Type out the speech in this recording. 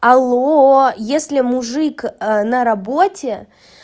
алло если мужик на работе